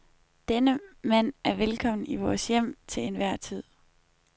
Denne mand er velkommen i vores hjem til enhver tid.